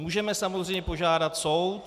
Můžeme samozřejmě požádat soud.